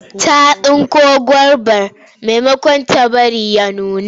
Ta tsinko gobar maimakon ta bari ta nuna.